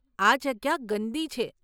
આ જગ્યા ગંદી છે.